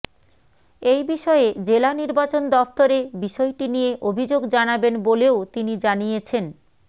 এই বিষয়ে জেলা নির্বাচন দফতরে বিষয়টি নিয়ে অভিযোগ জানাবেন বলেও তিনি জানিয়েছেন